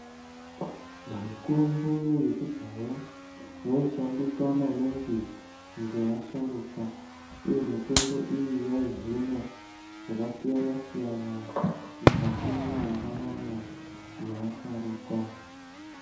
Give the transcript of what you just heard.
Mitombo yekudhaya yaishandiswa maningi ngevasharukwa, uye mitombo iyi yaihina zvakasiyana siyana mukati mwendaramo yeasharukwa.